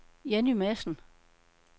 Jenny Madsen